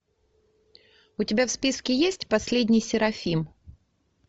у тебя в списке есть последний серафим